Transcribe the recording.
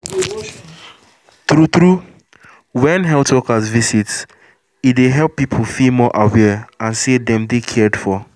true true when health workers visit e dey help people feel more aware and say dem dey cared for